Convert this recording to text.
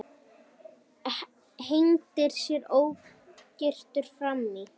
Hendir sér ógyrtur fram í.